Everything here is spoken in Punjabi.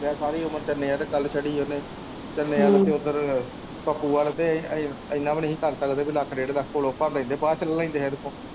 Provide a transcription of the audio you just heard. ਹੋ ਗਿਆ ਸਾਰੀ ਉਮਰ ਚੰਨੇ ਵਲ ਘਲ ਛੱਡੀ ਉਹਨੇ ਚੰਨੇ ਵੱਲ ਤੇ ਉਧਰ ਪੱਪੂ ਵੱਲ ਤੇ ਇੰਨਾ ਵੀ ਨੀ ਕਰ ਸਕਦੇ ਲੱਖ ਡੇਢ ਲੱਖ ਕੋਲੋ ਭਰ ਲੈਦੇ ਬਾਅਦ ਵਿਚ ਲੈ ਲੈਦੇ ਫਿਰ ਓਥੋਂ